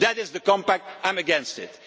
If that is the compact, I am against it.